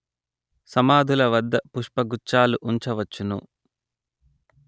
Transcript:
సమాధుల వద్ద పుష్పగుచ్ఛాలు ఉంచవచ్చును